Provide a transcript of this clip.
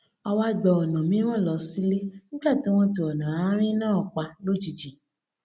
a wá gba ònà mìíràn lọ sílé nígbà tí wón ti ònà àárín náà pa lójijì